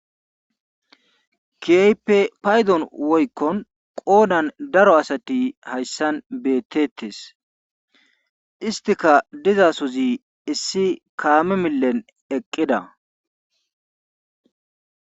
Keehippe paydon woykko qoodan daro asati hayssan beetetees. isttikka dizasozi issi kaame millen eqqida.